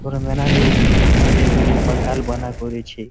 কোন ম্যানার লোক মিলে ঝুলে পান্ডাল বায়না করেছে।